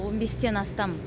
он бестен астам